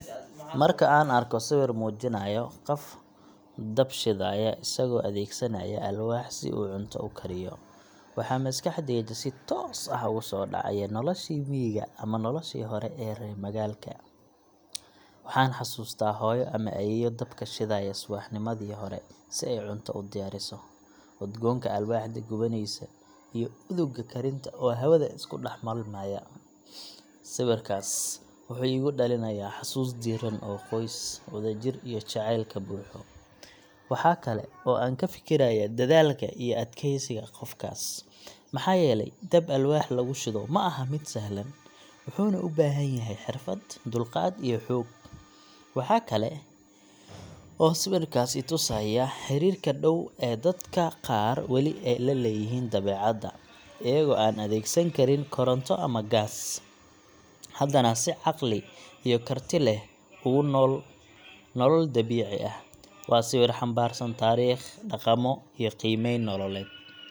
Marka aan arko sawir muujinaya qof dab shidaya isagoo adeegsanaya alwaax si uu cunto u kariyo, waxa maskaxdayda si toos ah ugu soo dhacaya noloshii miyiga ama noloshii hore ee reer magaalka. Waxaan xasuustaa hooyo ama ayeeyo dabka shidaya subaxnimadii hore si ay cunto u diyaariso, udgoonka alwaaxda gubanaysa iyo udugga karinta oo hawada isku dhex milmaya. Sawirkaas wuxuu igu dhalinayaa xasuus diirran oo qoys, wadajir iyo jacayl ka buuxo. Waxaa kale oo aan ka fikirayaa dadaalka iyo adkaysiga qofkaas, maxaa yeelay dab alwaax lagu shido ma aha mid sahlan, wuxuuna u baahan yahay xirfad, dulqaad iyo xoog. Waxa kale oo sawirku i tusayaa xiriirka dhow ee dadka qaar weli la leeyihiin dabeecadda, iyagoo aan adeegsan karin koronto ama gaas, haddana si caqli iyo karti leh ugu nool nolol dabiici ah. Waa sawir xambaarsan taariikh, dhaqamo, iyo qiimeyn nololeed.